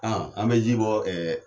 An bɛ ji bɔ